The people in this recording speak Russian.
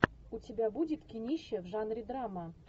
у тебя будет кинище в жанре драма